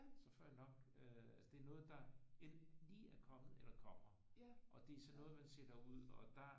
Så får jeg nok øh altså det er noget der enten lige er kommet eller kommer og det er sådan noget man sætter ud og der